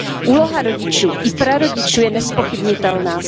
Úloha rodičů i prarodičů je nezpochybnitelná.